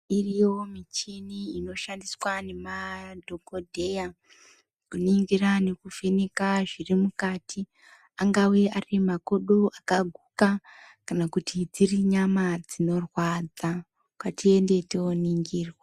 Iriyo michini inoshandiswa nemadhokotera kuningira nekuvheneka zviri mukati angave Ari makodo akaguka kana kuti dziri nyama dzinorwadza ngatiende toningirwa.